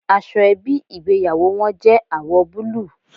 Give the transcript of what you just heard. Aṣọ ẹbí ìgbéyàwó wọn jẹ́ àwọ̀ búlúù.